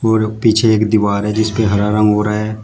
और पीछे एक दीवार है जिस पे हरा रंग हो रहा है।